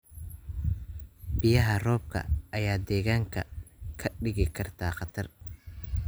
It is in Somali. Biyaha roobka ayaa deegaanka ka dhigi kara khatar.